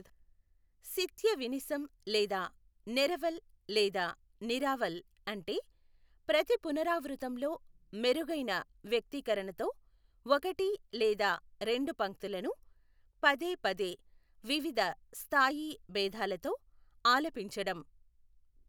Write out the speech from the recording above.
శిత్య వినిసం లేదా నెరవల్ లేదా నిరావల్ అంటే ప్రతి పునరావృతంలో మెరుగైన వ్యక్తీకరణతో ఒకటి లేదా రెండు పంక్తులను పదే పదే వివిధ స్థాయీ భేదాలతో ఆలపించడం.